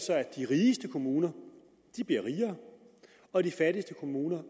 at de rigeste kommuner bliver rigere og de fattigste kommuner